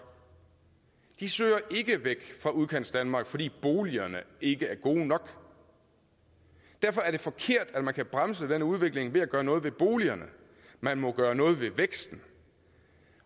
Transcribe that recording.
de søger ikke væk fra udkantsdanmark fordi boligerne ikke er gode nok derfor er det forkert at man kan bremse den udvikling ved at gøre noget ved boligerne man må gøre noget ved væksten